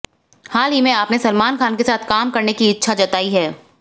हाल ही में आपने सलमान खान के साथ काम करने की इच्छा जताई है